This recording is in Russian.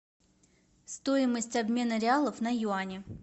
стоимость обмена реалов на юани